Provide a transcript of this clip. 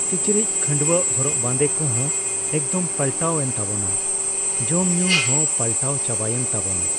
ᱠᱤᱪᱨᱤᱪ ᱠᱷᱟᱹᱰᱣᱟᱹᱜ ᱦᱚᱨᱚᱜ ᱵᱟᱸᱫᱮ ᱠᱚᱦᱚᱸ ᱮᱠᱫᱚᱢ ᱯᱟᱞᱴᱟᱣ ᱮᱱᱛᱟᱵᱚᱱᱟ ᱾ ᱡᱚᱢ ᱧᱩ ᱦᱚᱸ ᱯᱟᱞᱴᱟᱣ ᱪᱟᱵᱟᱭᱮᱱ ᱛᱟᱵᱚᱱᱟ ᱾